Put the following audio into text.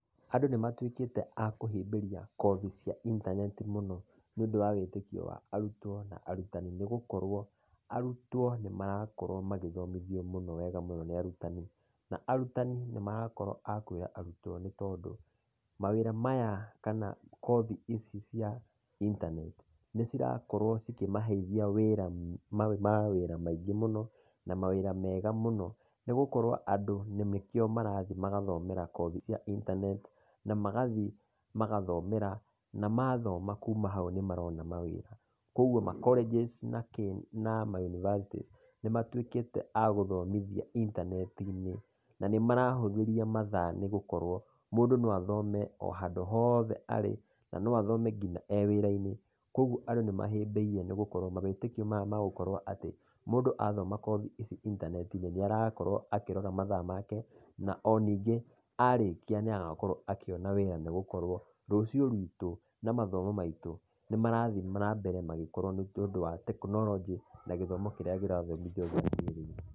Andũ nĩ matũĩkĩte a kũhĩmbĩria kothi cia intaneti mũno nĩũndũ wa wĩtĩkio wa arutwo na arutani, nĩgũkorwo arutwo nĩ marakorwo magĩthomithio mũno wega mũno nĩ arutani. Na arutani nĩ marakorwo akuona arutwo, nĩ tondũ mawĩra maya kana kothi ici cia intaneti nĩ cirakorwo cikĩmaheithia mawĩra mega mũno, nĩgũkorwo andũ nĩkĩo marathiĩ magathomera, kothi cia intaneti na magathiĩ magathomera, na mathoma kuuma na hau nĩ marona mawĩra. Koguo ma colleges nakĩĩ, ma university, nĩ matuĩkĩte agũthomithia intaneti-inĩ. Na nĩ marahũthĩria mathaa nĩ gũkorwo mũndũ no athome o handũ hothe arĩ, na no athome nginya ewĩra-inĩ. Koguo andũ nĩ mahĩmbĩirie nĩ gũkorwo wĩtĩkio, maya magũkorwo atĩ mũndũ athoma kothi ici intaneti-inĩ, nĩ arakorwo akĩrora mathaa make, na onĩngĩ arĩkia nĩ agakorwo akĩona wĩra, nĩgũkorwo rũcio rũitũ na mathomo maitũ nĩ marathiĩ nambere magĩkũra nĩũndũ wa tekinoronjĩ, na gĩthomo kĩrĩa kĩrathomithio gũkũ bũrũri-inĩ.